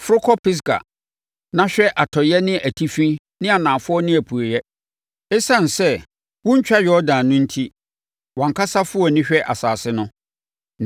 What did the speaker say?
Foro kɔ Pisga na hwɛ atɔeɛ ne atifi ne anafoɔ ne apueeɛ. Esiane sɛ, worentwa Yordan no enti, wʼankasa fa wʼani hwɛ asase no.